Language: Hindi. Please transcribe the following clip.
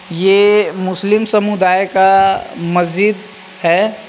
यह मुस्लिम समुदाय का मस्जिद है।